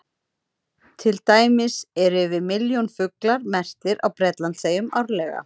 Til dæmis eru yfir milljón fuglar merktir á Bretlandseyjum árlega.